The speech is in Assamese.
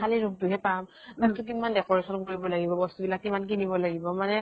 খালি room তোহে পাম । room তো কিমান decoration কৰিব লাগিব, বস্তু বিলাক কিমান কিনিব লাগিব মানে